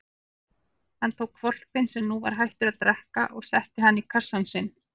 Hann tók hvolpinn sem nú var hættur að drekka og setti hann í kassann sinn.